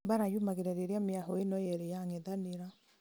mbara yumĩraga rĩrĩa mĩahũ ĩno yerĩ yang'ethanĩra